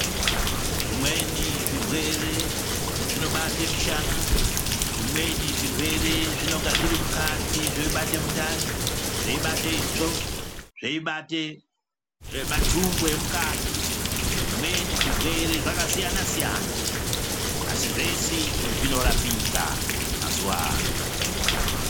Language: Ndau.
Zvimweni zvirwere zvinobata mushana zvimweni zvirwere zvinonga zviri mukati zveibate mundani zveibate itsvo zveibate ee matumbu emukati zvimweni zvirwere zvakasiyana siyana asi zvese izvi zvirwere zviNorapika mazuwa ano.